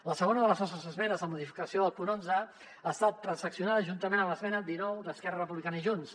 la segona de les nostres esmenes la modificació del punt onze ha estat transac·cionada juntament amb l’esmena dinou d’esquerra republicana i junts